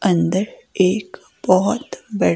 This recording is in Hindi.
अंदर एक बहुत--